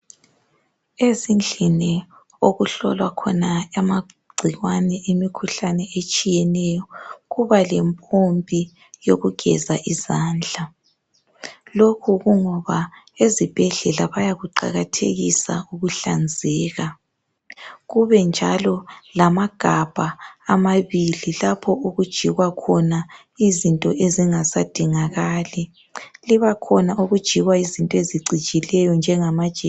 Ezindlini okuhlolwa khona amagcikwane emikhuhlane etshiyeneyo kuba lempompi yokugeza izandla. Lokhu kungoba ezibhedlela bayakuqakathekisa ukuhlanzeka. Kube njalo lamagabha amabili lapho okujikwa khona izinto ezingasadingakali. Kubakhona okujikwa izinto ezicijileyo njengamajekiseni.